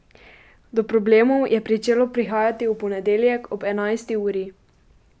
Do problemov je pričelo prihajati v ponedeljek ob enajsti uri.